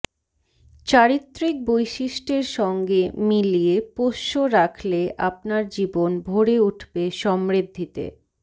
চারিত্রিক বৈশিষ্ট্যের সঙ্গে মিলিয়ে পোষ্য রাখলে আপনার জীবন ভরে উঠবে সমৃদ্ধিতে